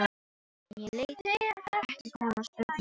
En ég lét hann ekki komast upp með neitt múður.